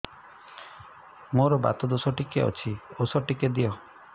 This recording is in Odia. ମୋର୍ ବାତ ଦୋଷ ଟିକେ ଅଛି ଔଷଧ ଟିକେ ଦିଅ